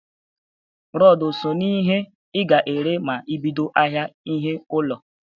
Rọd o so n'ihe i ga-ere ma i bido ahịa ihe ụnọ?